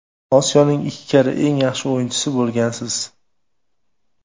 Osiyoning ikki karra eng yaxshi o‘yinchisi bo‘lgansiz.